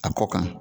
A kɔ kan